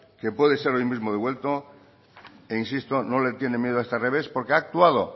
que puede ser hoy mismo devuelto e insisto no le tiene miedo a este revés porque ha actuado